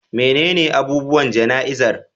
Menene abubuwan jana'izar?